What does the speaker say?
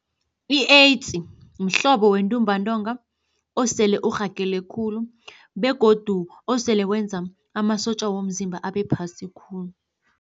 I-AIDS mhlobo wentumbantonga osele urhagele khulu begodu osele wenza amasotja womzimba abe phasi khulu.